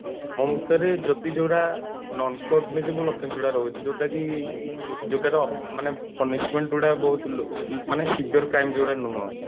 ମୋ ମତରେ ଯଦି ଯୋଉ ଗୁଡା non cognizable offense ଗୁଡା ରହୁଛି ଯୋଉଟା କି ଯୋଉଟାର ମାନେ punishment ଗୁଡା ବହୁତ ମାନେ Sevier crime ଯୋଉ ଗୁଡା ନୁହଁ